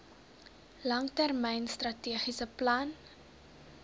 langtermyn strategiese plan